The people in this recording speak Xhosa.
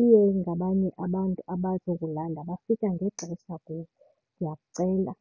iye ingabanye abantu abazokulanda bafika ngexesha kuwe, ndiyakucela.